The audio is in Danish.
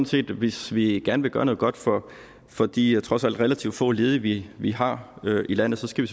set at hvis vi gerne vil gøre noget godt for for de trods alt relativt få ledige vi vi har i landet skal